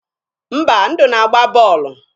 Mba, Ndụ na-agba bọọlụ.